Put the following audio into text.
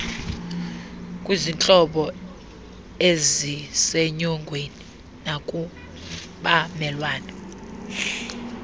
kwizihlobo eizsenyongweni nakubamelwane